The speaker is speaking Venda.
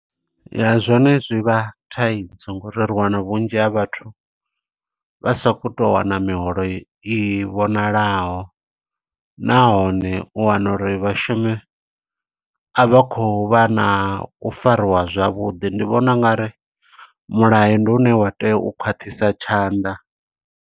Ya, zwone zwi vha thaidzo ngo uri ri wana vhunzhi ha vhathu, vha sa khou to u wana miholo i vhonalaho. Nahone, u wana uri vhashumi a vha khou vha na u fariwa zwavhuḓi. Ndi vhona u nga ri mulayo ndi une wa tea u khwaṱhisa tshanḓa.